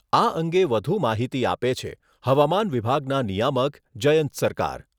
આ અંગે વધુ માહિતી આપે છે હવામાન વિભાગના નિયામક જયંત સરકાર